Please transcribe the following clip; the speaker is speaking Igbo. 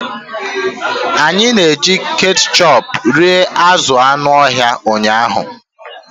Anyị na-eji ketchup rie azụ̀ anụ ọhịa ụnyahụ.